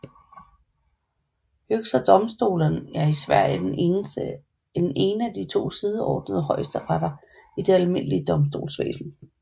Högsta domstolen er i Sverige den ene af de to sideordnede højesteretter i det almindelige domstolsvæsen